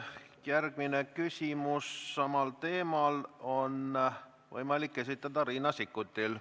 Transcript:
Järgmine küsimus samal teemal on võimalik esitada Riina Sikkutil.